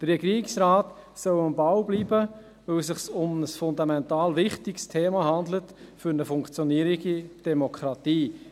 Der Regierungsrat soll am Ball bleiben, weil es sich um ein fundamental wichtiges Thema handelt für eine funktionierende Demokratie;